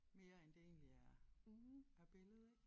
Mere end det egentlig er er billede ik